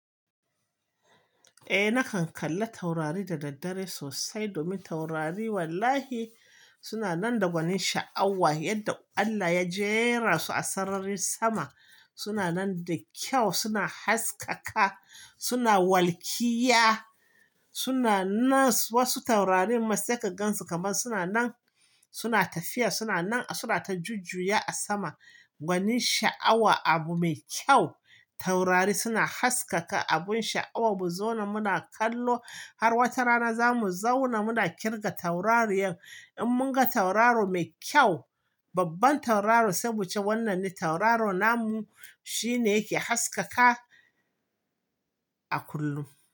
Eh nakan kalla taurari da daddare sosai domin taurari wallahi suna nan da gwanin sha'awa yadda Allah ya jera su a sararin sama. Suna nan da kyau, suna haskaka, suna walkiya, suna nan wasu taurarin matsakagan su kaman suna nan, suna tafiya suna nan suna ta jujjuya a sama. Gwanin sha'awa abu mai kyau. Taurari suna haskaka abun sha'awa. Mu zauna muna kallo har wata rana za mu zauna muna kirga taurariyan. In mun ga tauraro mai kyau, babban tauraro saboda wannan tauraro namu shine yake haskaka a kullum.